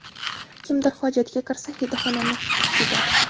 Kimdir hojatga kirsa, hidi xonani tutib ketadi.